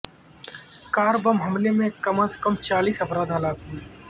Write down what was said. کار bomb حملے میں کم از کم چالیس افراد ہلاک ہوئے